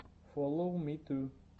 фоловмиту